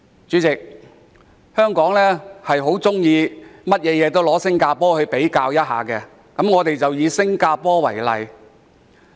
主席，香港事事喜歡與新加坡比較，我便以新加坡為例。